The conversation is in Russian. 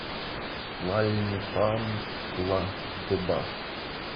тлальнепантла де бас